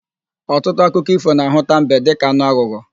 Ọtụtụ akụkọ ífò na-ahụta mbe dịka anụ aghụghọ.